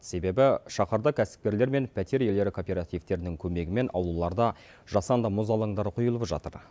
себебі шаһарда кәсіпкерлер мен пәтер иелері кооперативтерінің көмегімен аулаларда жасанды мұз алаңдары құйылып жатыр